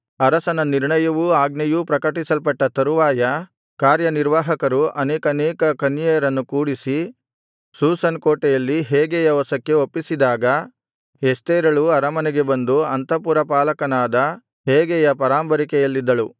ಅರಸನ ನಿರ್ಣಯವೂ ಆಜ್ಞೆಯೂ ಪ್ರಕಟಿಸಲ್ಪಟ್ಟ ತರುವಾಯ ಕಾರ್ಯನಿರ್ವಾಹಕರು ಅನೇಕಾನೇಕ ಕನ್ಯೆಯರನ್ನು ಕೂಡಿಸಿ ಶೂಷನ್ ಕೋಟೆಯಲ್ಲಿ ಹೇಗೈಯ ವಶಕ್ಕೆ ಒಪ್ಪಿಸಿದಾಗ ಎಸ್ತೇರಳೂ ಅರಮನೆಗೆ ಬಂದು ಅಂತಃಪುರ ಪಾಲಕನಾದ ಹೇಗೈಯ ಪರಾಂಬರಿಕೆಯಲ್ಲಿದ್ದಳು